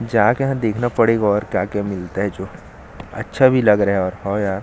जाके यहाँ देखना पड़ेगा और क्या-क्या मिलता है जो अच्छा भी लग रहा है हव यार--